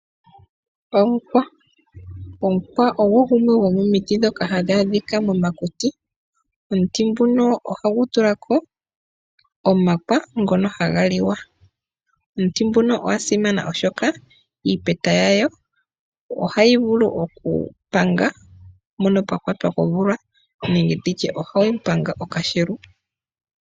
Omukwa Omukwa ogo gumwe gomomiti ndhoka hadhi adhika momakuti. Omuti nguno ohagu tula ko omakwa ngono haga liwa. Omuti nguka ogwa simana, oshoka iipeta yago ohayi vulu okupanga mpoka pwa kwatwa komvula, ano ohayi panga okashelu.